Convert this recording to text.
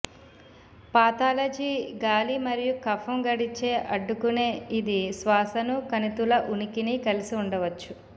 pathology గాలి మరియు కఫం గడిచే అడ్డుకునే ఇది శ్వాసను కణితుల ఉనికిని కలిసి ఉండవచ్చు